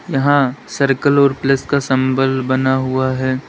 यहां सर्कल और प्लस का सिंबल बना हुआ है।